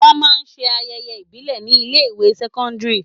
Wọn máa ń ṣe ayẹyẹ ìbílè ni ilé ìwé sẹ́kọ́ńdírì.